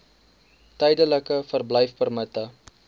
tydelike verblyfpermitte